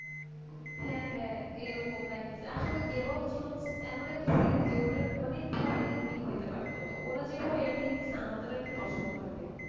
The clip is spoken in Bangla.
হ্যাঁ হ্যাঁ এইরকম দেখাইছে আসলে এ game of throne এমন একটা series যেটা অনেক ভাবে ending পেতে পারতো তো ওরা যে কিভাবে ending দিয়েছে আমাদের একটু পছন্দ হয় নাই